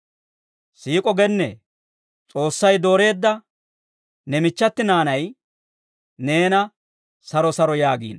Siik'o gennee, S'oossay dooreedda ne michchati naanay neena saro saro yaagiino.